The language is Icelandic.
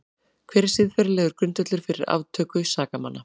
Hver er siðferðilegur grundvöllur fyrir aftöku sakamanna?